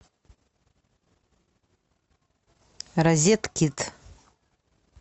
розеткит